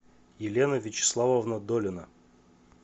елена вячеславовна долина